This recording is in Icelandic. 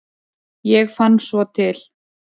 Ég fann svo til.